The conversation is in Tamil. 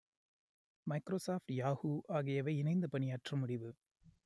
மைக்ரோசாஃப்ட் யாகூ ஆகியவை இணைந்து பணியாற்ற முடிவு